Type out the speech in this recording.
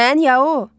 Mən ya o?